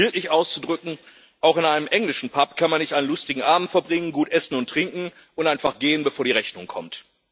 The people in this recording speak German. Um es bildlich auszudrücken Auch in einem englischen Pub kann man nicht einen lustigen Abend verbringen, gut essen und trinken und einfach gehen, bevor die Rechnung kommt.